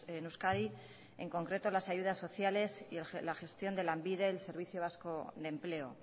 en euskadi en concreto las ayudas sociales y la gestión de lanbide servicio vasco de empleo